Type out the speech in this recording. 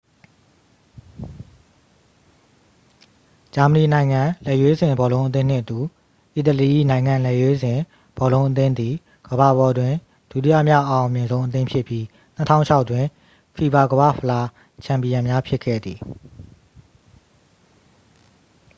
ဂျာမဏီ နိုင်ငံလက်ရွေးစင် ဘောလုံးအသင်းနှင့်အတူ အီတလီ၏ နိုင်ငံလက်ရွေးစင် ဘောလုံးအသင်းသည် ကမ္ဘာပေါ်တွင် ဒုတိယမြောက် အအောင်မြင်ဆုံး အသင်းဖြစ်ပြီး 2006 တွင် ဖီဖာ ကမ္ဘာ့ဖလား ချန်ပီယံများ ဖြစ်ခဲ့သည်